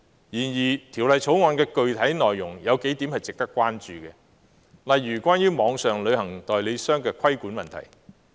然而，《條例草案》的具體內容有數點是值得關注的，例如關於網上旅行代理商的規管問題。